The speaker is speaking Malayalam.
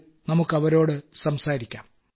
വരൂ നമുക്ക് അവരോട് സംസാരിക്കാം